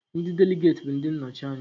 Ndị Deligeti bụ ndị nnọchi anya